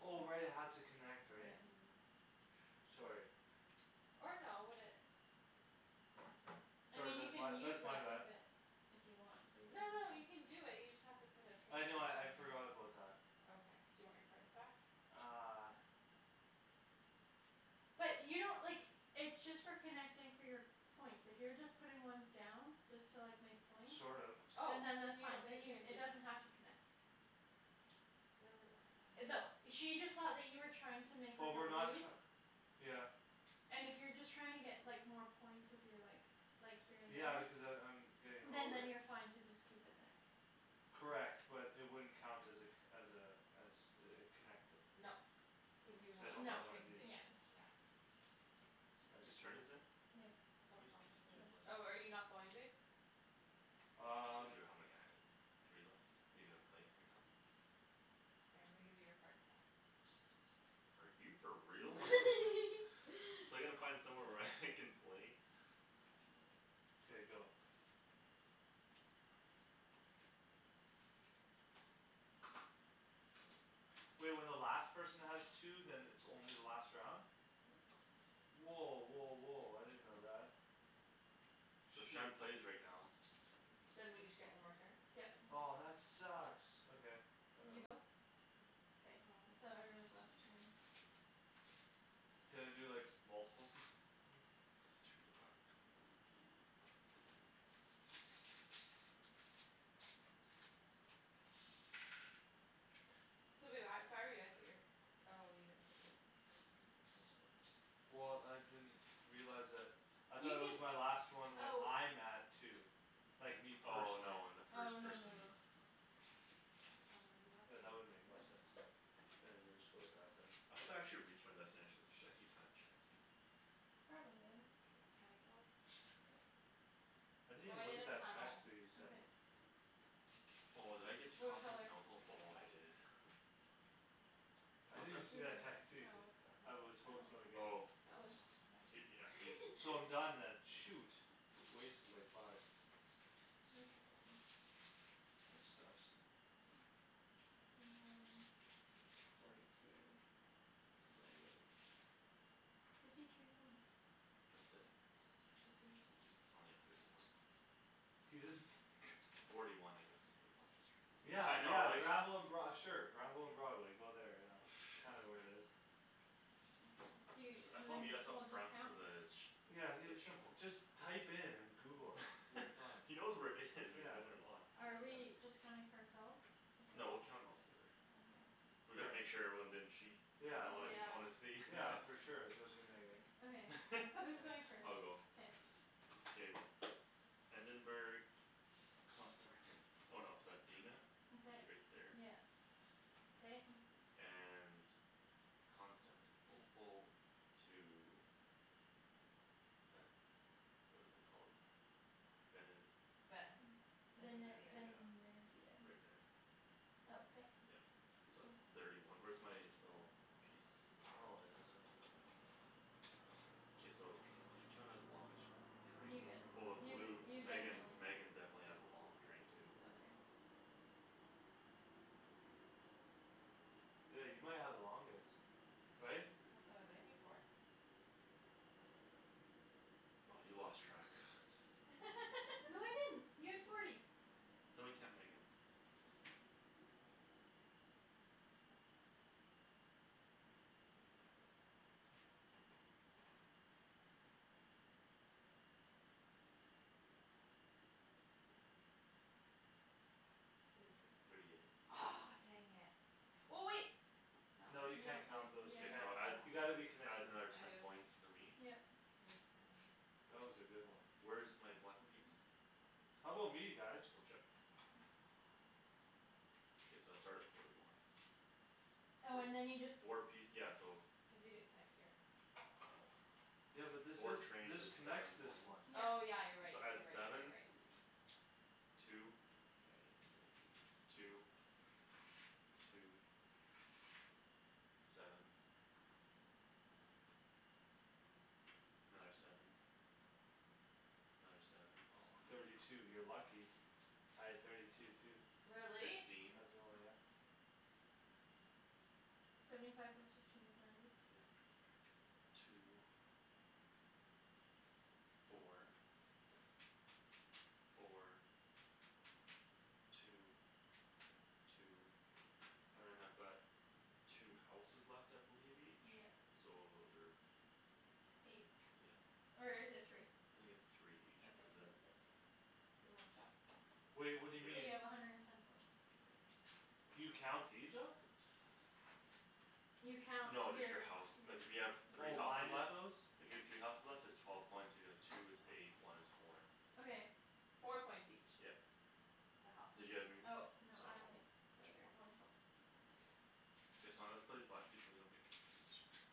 Oh, right, it has to connect, right? Mhm. Yeah. Sorry. Or no would it I Sorry, mean you that's my can use that's my that bad. if it If you want but you No, don't no, have you to can do it, you just have to put a train I know I I'd station here forgot about that. Okay, do you want your cards back? Uh. But you don't, like, it's just for connecting for your points. If you're just putting ones down, just to like make points. Sort of. Oh, And then then that's you fine. don't need a train It does station not have to connect. That she just saw that you were trying to make But up a we're not loop. tr- Yeah. And if you're just trying to get like more points with your like Like here Yeah in because a I'm I'm route. Getting Then low, right? then you're fine to just keep it there. Correct but it wouldn't count as a co- as a As a a connected No, cuz you would Cuz I have to don't put No. a have one of train these. Yeah. station yeah Whose turn is it? It's How still many Thomas' pieces do you have left? Oh, are you not going babe? I told Um. you how many I have. You have three left? Are you gonna play right now? Here I'm gonna give you your cards back Are you for real? So I gotta find somewhere where I can play K, go. Wait, when the last person has two then it's only the last round? Yeah. Woah, woah, woah, I didn't know that. So Shoot. Shand plays right now. Then we each get one more turn? Yep. Oh, that sucks, okay. I got You go? one. Yeah. Aw. Can I do like multiple th- things? Two black. So babe I if I were you I'd put your Oh, you didn't put those pil- pieces down there, never mind Well, I didn't realize that. I thought it was my You last one when can, I'm at two. oh Like me Oh, Oh, no, no, personally. no, when the first person no. How many do you have? Yeah, Two? that wouldn't make One. any sense. One. I'll just go like that then. I hope I actually reach my destinations. I should actually kinda check eh? Probably. Okay, can I go? Yeah. I I'm didn't even going look in at a that text tunnel that you sent me. Okay. Oh, did I get to What color? Constantinople? Oh, I White. did. I What's didn't that? even see that text you No, sent. what's that one? I was focused on the game. Oh. Okay. He, yeah, he's So I'm done then. shoot. Wasted like five. Okay. That sucks. Sixteen, twenty one, forty two Forty eight Fifty three points That's it? I think so. Only have thirty one Forty one I guess with the longest train. Yeah, Yeah, I know yeah, like Granville and Broad- sure Granville and Broadway, go there, yeah. Kinda where it is. I jus- I told meet us up front the village Yeah, he That show shuf- just Type in and google it Until you find He knows where it is. We've Yeah. been there lots. Are we just counting for ourselves? No, we'll count 'em all together Okay. We Yeah. gotta make sure everyone didn't cheat. Y'know Yeah, I wanna like I Yeah. wanna see Yeah, for sure, especially Megan. I'll go. K. Endenburg Constanti- oh no to Athena Which Okay is right there. yeah okay And Constantinople To a What is it called? Vene- Venice Vene- Venezia Venezia, Venesia right there Okay. Yup. So that's thirty one. Where's my little piece? Oh, I didn't see that. K, we should count it as the longest You Train get well the you blue you Megan definitely Megan definitely has a long train too Okay. Yeah, you might have the longest right? That's what I was aiming for. By you lost track No, I didn't. You have forty. Somebody count Megan's One, Four, two, three five, six Four, five, six, seven, eight, nine, ten, eleven, twelve, thirteen, fourteen, fifteen, sixteen, seventeen, eighteen, nineteen, twenty Twenty one, twenty two Thirty two Thirty eight Aw, dang it Well, wait No. No, No, you in yeah, can't count those, you K, can't. so add You Yeah. gotta be yeah add connected. another ten points for me. Yep. This one. That was a good one. Where's my black piece? How 'bout me guys? Blue chip. K, so I start at forty one. Oh, So, and then you just four piec- yeah so Cuz you didn't connect here Yeah. but this Four is trains this is connects seven this points one. Oh, Yeah. yeah, you're right, So you're add right, you're right, you're seven right. Two Forty eight, fifty Two Two Seven Another seven Another seven Thirty two. You're lucky. Three, I had thirty four, five two too. Really? Really? Fifteen As well, yeah. Seventy five plus fifteen is ninety Yeah. Two Four Four Two, two And then I've got Two houses left I believe each, Yeah. so those are Eight, Yeah. or is it three? I think it's three each Okay, cuz the so six Do you wanna check? Wait, what So do you mean? you Yeah. have a hundred and ten points. Okay. You count these up? You count No, you're, just the house. Like if you have yeah three Oh houses minus left those? If you have three houses left it's twelve points, if you have like two it's eight, one is four. Okay. Four Four points points each each. Yep. The house. So one more? Or two more? Okay K, so I'm gonna have to put these black piece away so you don't get confused right here.